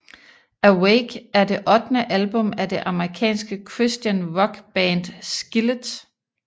Awake er det ottende album af det amerikanske Christian rock band Skillet